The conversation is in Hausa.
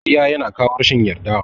Ƙarya yana kawo rashin yarda.